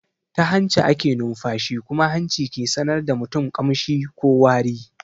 Ta hanci ake nunfashi kuma hanci ke sanar da mutum kamshi ko wari.